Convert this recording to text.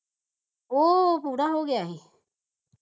ਉਹ ਪੂਰਾ ਹੋ ਗਿਆ ਸੀ